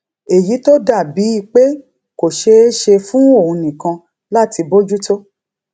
èyí tó dà bíi pé kò ṣeé ṣe fún òun nìkan láti bójú tó